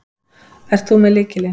Ert þú með lykilinn?